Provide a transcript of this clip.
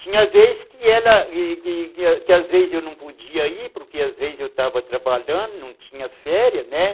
Tinha vez que ela, que que às vezes eu não podia ir, porque às vezes eu estava trabalhando, não tinha férias, né?